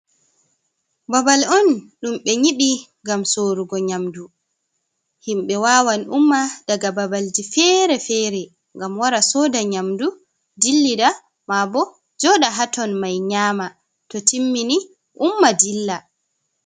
Babal on ɗum ɓe nyiɓi ngam sorugo nyamdu, himɓɓe wawan umma daga babalji fere-fere ngam wara soda nyamdu dillida, ma bo joɗa ha ton mai nyama to timmini umma dilla.